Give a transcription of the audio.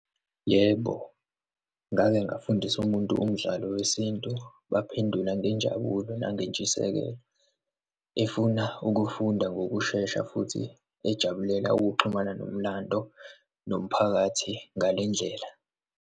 Yebo, ngake ngafundisa umuntu umdlalo wesintu, waphendula ngenjabulo nangentshisekelo efuna ukuwufunda ngokushesha futhi ejabulela ukuxhumana nomlando nomphakathi ngale ndlela.